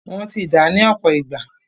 Wọ́n ti dàá ní ọ̀pọ̀ ìgbà.